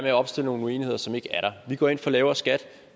at opstille nogle uenigheder som ikke er der vi går ind for lavere skat